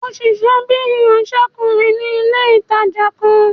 Ó n ṣiṣẹ́ bíi ìránsẹ́kùnrin ní ilé-ìtánjẹ kan